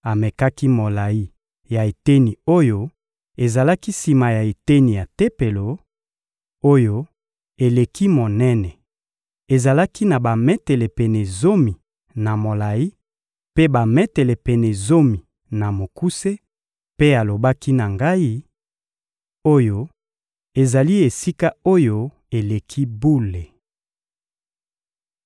Amekaki molayi ya eteni oyo ezalaki sima ya eteni ya Tempelo, oyo eleki monene: ezalaki na bametele pene zomi na molayi, mpe bametele pene zomi na mokuse; mpe alobaki na ngai: «Oyo ezali Esika-Oyo-Eleki-Bule.»